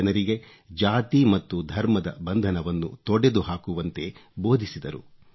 ಜನರಿಗೆ ಜಾತಿ ಮತ್ತು ಧರ್ಮದ ಬಂಧನವನ್ನು ತೊಡೆದು ಹಾಕುವಂತೆ ಬೋಧಿಸಿದರು